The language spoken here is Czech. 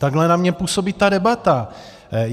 Takhle na mě působí ta debata.